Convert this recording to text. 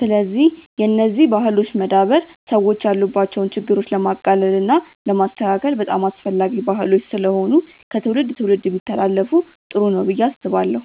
ስለዚህ የነዚህ ባህሎች መዳበር ሰዎች ያሉባቸውን ችግሮች ለማቅለል እና ለማስተካከል በጣም አስፈላጊ ባህሎች ስለሆኑ ከትውልድ ትውልድ ቢተላለፋ ጥሩ ነው ብዬ አስባለሁ።